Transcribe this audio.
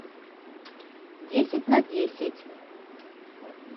десять на десять